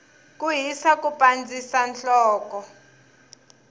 ku hisa ku pandzisa nhloko